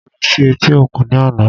Mo ló sí etí òkun ní àná